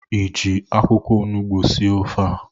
ị ji akwụkwọ onugbu sie ofe a?